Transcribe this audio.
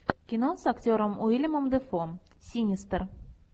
кино с актером уильямом дефо синистер